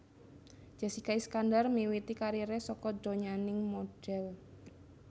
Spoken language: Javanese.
Jessika Iskandar miwiti kariré saka donyaning modhél